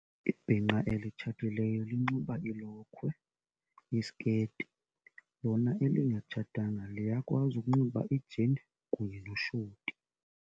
Ibhinqa elitshatileyo linxiba ilokhwe, isiketi, lona elingatshatanga liyakwazi ukunxiba ijini kunye noshoti.